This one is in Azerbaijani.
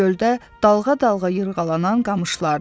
Göldə dalğa-dalğa yırğalanan qamışlardır.